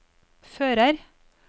fører